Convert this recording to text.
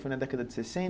Foi na década de